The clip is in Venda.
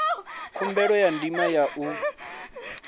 khumbelo ya ndima ya u